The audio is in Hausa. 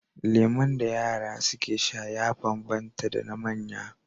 Lemon da yara suke sha ya banban ta da na manya